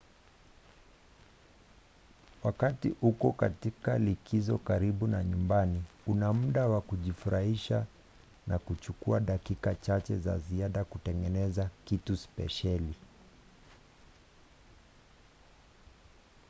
wakati uko katika likizo karibu na nyumbani una muda wa kujifurahisha na kuchukua dakika chache za ziada kutengeneza kitu spesheli